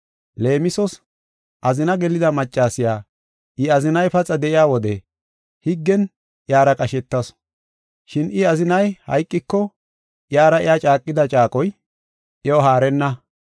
Leemisos, azina gelida maccasiya I azinay paxa de7iya wode higgen iyara qashetasu. Shin I azinay hayqiko iyara iya caaqida caaqoy iyo haarenna.